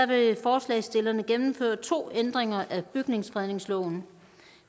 vil forslagsstillerne gennemføre to ændringer af bygningsfredningsloven